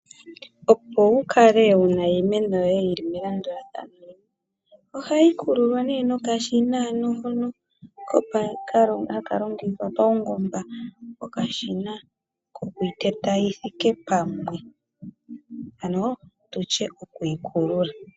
Opo wu kale wu na iimeno yoye yili melandulathano, ohayi kululwa nee nokashina hono haka longithwa paungomba. Okashina kokwiiteya yi thike pamwe. Ano tutye yokuyi kulula.